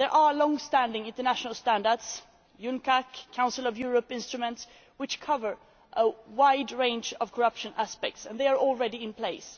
Long standing international standards such as UNCAC or Council of Europe instruments, which cover a wide range of corruption aspects are already in place.